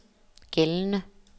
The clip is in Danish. gældende